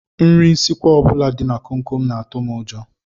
Nri nsikwa ọ bụla dị na komkom na-atụ m ụjọ